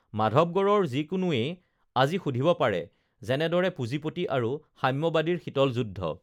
মাধৱগঢ়ৰ যিকোনোয়ে আজিও সুধিব পাৰে যেনেদৰে পুঁজিপতি আৰু সাম্যবাদীৰ শীতল যুদ্ধ